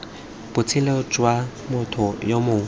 botshelo jwa motho yo mongwe